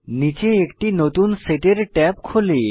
নীচে একটি নতুন সেটের ট্যাব খোলে